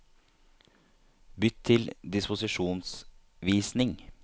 Bytt til disposisjonsvisning